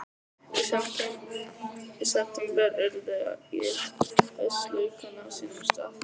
Í september urða ég haustlaukana á sínum stað.